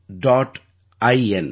இன்